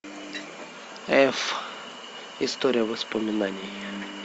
эф история воспоминаний